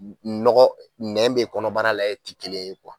nɔgɔ nɛ bɛ kɔnɔbara la ye ti kelen ye